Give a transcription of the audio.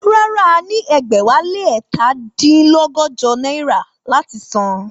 Rárá, a ní ẹgbẹ̀wálé ẹ̀ta dín lọ́gọ́jọ náírà láti san